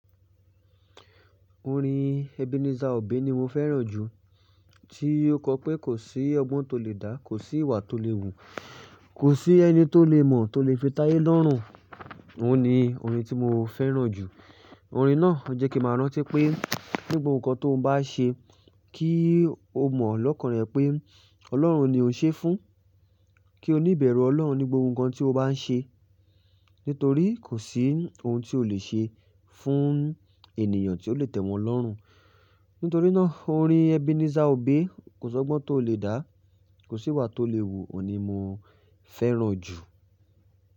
Orin Ebenezer Obey ni mo fẹ́ràn jù, tí ó kọ pé kò sí ọgbọ́n tó lè dá, kò sí ìwà tó lè wù, kò sí ẹni tó lè mọ̀ tó lè fi tayé lọ́rùn. Òun ni orin tí mo fẹ́ràn jù. Orin náà jẹ́ kí mo rántí pé ní gbogbo nǹkan tó bá ṣe kí o mọ̀ lọ́kàn rẹ pé Ọlọ́run ni o ń ṣe fún, kí o níbẹ̀rù Ọlọ́run ní gbogbo nǹkan tí o bá ń ṣe. Nítorí kò sí ohun tí o lè ṣe fún ènìyàn tí ó lè tẹ̀wọ̀n lọ́rùn. Nítorí náà orin Ebenezer Obey "Kò sọgbọ́n tó lè dá, kò sí ìwà tó lè wù" ni mo fẹ́ràn jù.